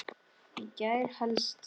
Í gær helst.